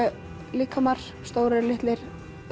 líkamar stórir litlir